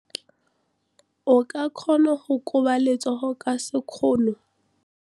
O ka kgona go koba letsogo ka sekgono.